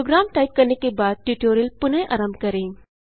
programme type करने के बाद ट्यूटोरियल पुनः आरंभ करें